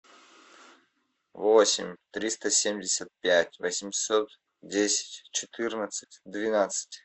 восемь триста семьдесят пять восемьсот десять четырнадцать двенадцать